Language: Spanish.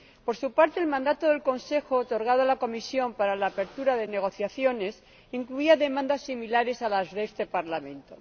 Por su parte, el mandato del Consejo otorgado a la Comisión para la apertura de negociaciones incluía demandas similares a las de este Parlamento.